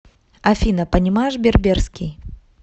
афина понимаешь берберский